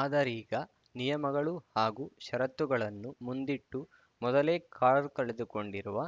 ಆದರೀಗ ನಿಯಮಗಳು ಹಾಗೂ ಷರತ್ತುಗಳನ್ನು ಮುಂದಿಟ್ಟು ಮೊದಲೇ ಕಾರು ಕಳೆದುಕೊಂಡಿರುವ